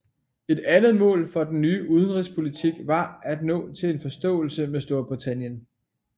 Et andet mål for den nye udenrigspolitik var at nå til en forståelse med Storbritannien